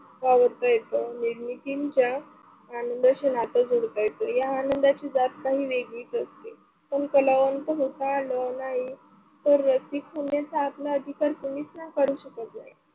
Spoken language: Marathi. वावरता येतं निर्मितीच्या आनंदाशी नातं जोडता येतो. या आनंदाची जात काही वेगळीच असते, पण कलावंत होता आलं नाही तर रसिक होण्याचा आपला अधिकार कोणीच नका करू शकत नाही.